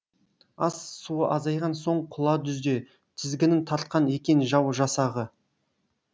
ас суы азайған соң құла дүзде тізгінін тартқан екен жау жасағы